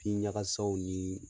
Pin ɲagasaw ni